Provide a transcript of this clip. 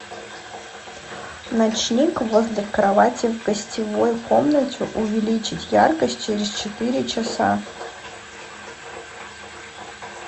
ночник возле кровати в гостевой комнате увеличить яркость через четыре часа